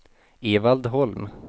Evald Holm